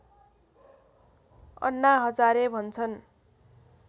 अन्ना हजारे भन्छन्